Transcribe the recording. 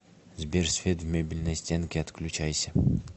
сбер свет в мебельной стенке отключайся